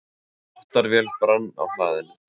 Dráttarvél brann á hlaðinu